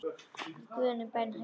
Í guðanna bænum hættu